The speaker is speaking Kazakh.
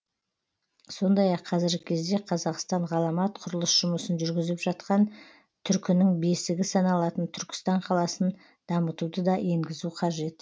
сондай ақ қазіргі кезде қазақстан ғаламат құрылыс жұмысын жүргізіп жатқан түркінің бесігі саналатын түркістан қаласын дамытуды да енгізу қажет